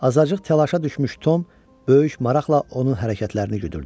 Azacıq təlaşa düşmüş Tom böyük maraqla onun hərəkətlərini güdürdü.